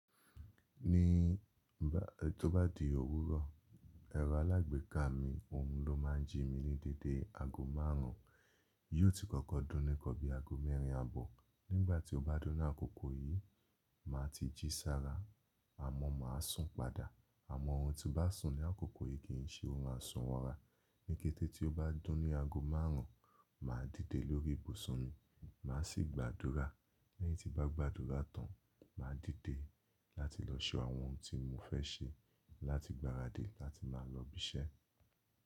Ní igbá tí ó bá di òwúrọ̀, ẹ̀rọ alágbèéká mi, òun ló máa ń jí mi ní dédé aago márùn ún. Yóò ti kọ́kọ́ dún ni nkan bí i aago mẹ́rin àbọ̀. Nígbà tí ó bá dún ni àkókò yìí, màá ti jí sára, àmọ́ màá sùn padà. Àmọ́ orun tí n bá sùn ní àkókò yìí kì í ṣe órun asùn wọra. Níkẹ́tẹ́ tí ó bá dún ni aago márùn ún, màá díde lórí ìbùsùn mi, màá sì gba àdúrà. Lẹ́yìn tí n ba gba àdúrà tán, màá díde láti lọ ṣe àwọn ohun tí mo fẹ́ ṣe láti gbáradì láti máa lọ ibi iṣẹ́.